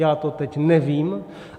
Já to teď nevím.